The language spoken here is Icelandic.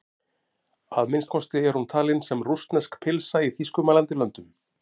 Að minnsta kosti er hún talin sem rússnesk pylsa í þýskumælandi löndum.